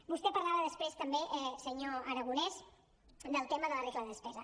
vostè parlava després també senyor aragonès del tema de la regla de despesa